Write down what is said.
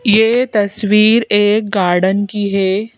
ये तस्वीर एक गार्डन की है।